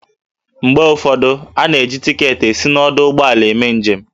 Mgbe ụfọdụ, a na-eji tiketi esi n'ọdụ ụgbọala eme njem